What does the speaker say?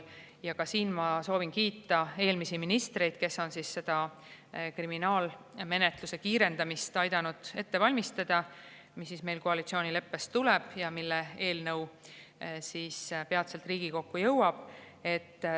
Ja ka siin ma soovin kiita eelmisi ministreid, kes on aidanud ette valmistada kriminaalmenetluse kiirendamise eelnõu, mis meil koalitsioonileppest tuleb ja peatselt Riigikokku jõuab.